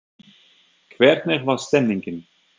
hvernig var stemningin?